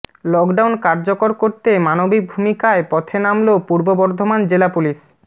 lockdown কার্যকর করতে মানবিক ভূমিকায় পথে নামলো পূর্ব বর্ধমান জেলা পুলিশ